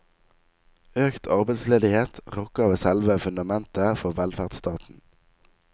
Økt arbeidsledighet rokker ved selve fundamentet for velferdsstaten.